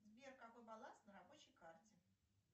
сбер какой баланс на рабочей карте